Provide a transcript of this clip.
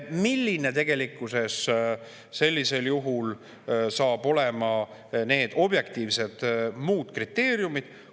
Millised saavad tegelikkuses sellisel juhul olema need objektiivsed kriteeriumid?